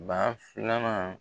Ba filanan